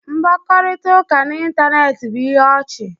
Mkpakọrịta n'ịntanetị bụ ihe ọchị